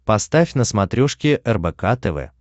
поставь на смотрешке рбк тв